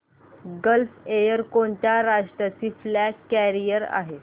gulf Air कोणत्या राष्ट्राची flag carrier आहे